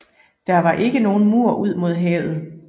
Der var ikke nogen mur ud mod havet